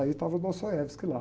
Aí estava o Dostoiévski lá.